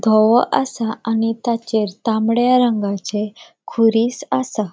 धवो आसा आणि ताचेर तामड्या रंगाचे खुरिस आसा.